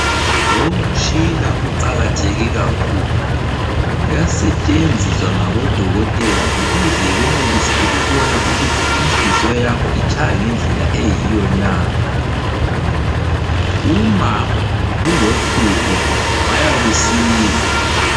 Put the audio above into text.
Lomtshina uqakatheke kakhulu. Uyasetshenziswa ngabodokotela ukuze benelise ukubona ukuthi inhliziyo yakho itshaya ngendlela eyiyo na. Uma kulohlupho bayakusiza.